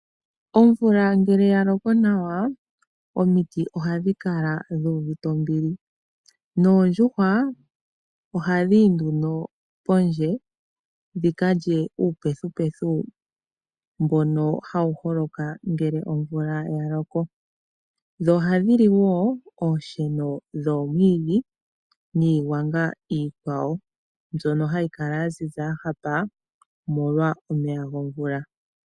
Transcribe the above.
Omvula ngele ya loko nawa omiti ohadhi kala dhu uvite ombili noondjuhwa ohadhi yi nduno pondje dhi ka lye uupethipethi mbono hawu holoka ngele omvula ya loko. Ohadhi li wo oonsheno dhoomiwiidhi niigwanga yilwe mbyono hayi kala ya ziza ya hapa, omolwa omeya gomvula.